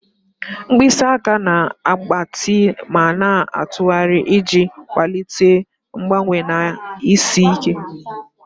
Mkpịsị aka na-agbatị ma na-atụgharị iji kwalite mgbanwe na isi ike.